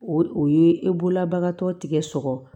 O o ye e bolola bagan tɔ tigɛ sɔgɔ